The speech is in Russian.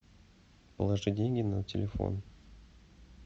положи деньги на телефон